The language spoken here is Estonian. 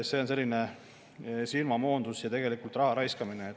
See on selline silmamoondus ja tegelikult raha raiskamine.